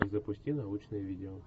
запусти научное видео